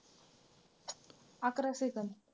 अकरा second.